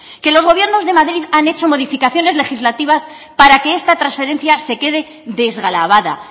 que los gobiernos de madrid han hecho modificaciones legislativas para que esta transferencia se quede desgravada